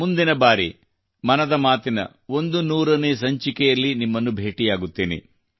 ಮುಂದಿನ ಬಾರಿ ಮನದ ಮಾತಿನ 100 ನೇ ಸಂಚಿಕೆಯಲ್ಲಿ ನಿಮ್ಮನ್ನು ಭೇಟಿಯಾಗುತ್ತೇನೆ